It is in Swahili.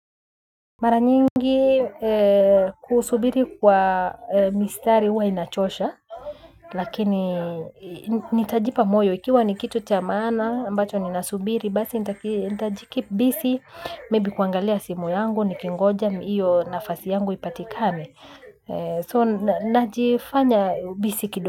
Mara nyingi kusubiri kwa mistari huwa inachosha. Lakini nitajipa moyo ikiwa ni kitu cha maana ambacho nina subiri basi nitajikip bisi Maybe kuangalia simu yangu nikingoja iyo nafasi yangu ipatikane So najifanya bisi kido.